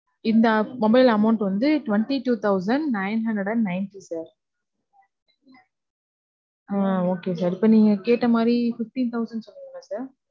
இந்த mobile amount வந்து, twenty two thousand nine hundred and ninety sir. Ah Okay sir. இப்ப நீங்க கேட்ட மாதிரி fifteen thousand சொன்னீங்களா sir?